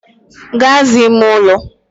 Gaa zaa ime ụlọ!